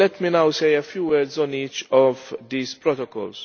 Let me now say a few words on each of these protocols.